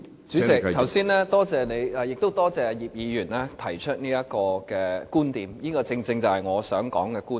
主席，剛才多謝你，亦多謝葉議員提出這觀點，這正正是我想說的觀點。